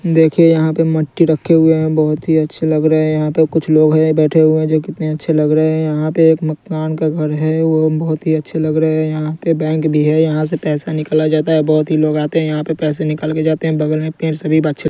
देखिए यहां पे मिट्टी रखे हुए हैं बहुत ही अच्छे लग रहे हैं यहां पे कुछ लोग हैं बैठे हुए जो कितने अच्छे लग रहे हैं यहां पे एक मकान का घर है वह बहुत ही अच्छे लग रहे हैं यहां पे बैंक भी है यहां से पैसा निकाला जाता है बहुत ही लोग आते हैं यहां पे पैसे निकाल कर जाते हैं बगल में पेड़ सभी --